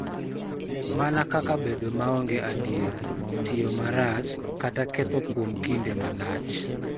Mana kaka bedo maonge adier, tiyo marach, kata ketho kuom kinde malach,